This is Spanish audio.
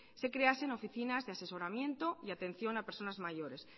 se creasen oficinas de asesoramiento y atención a personas mayores